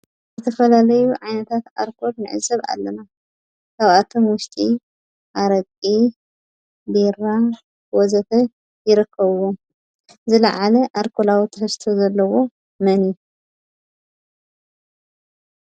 ዝተፈላለዩ ዓይነታት ኣልኮል ንዕዘብ ኣለና፡፡ ካብኣቶም ዊሽጢ፣ ኣረቂ፣ ቢራ ወዘተ ይርከብዋ፡፡ ዝላዓለ ኣልኮላዊ ትሕዝቶ ዘለዎ መን እዩ?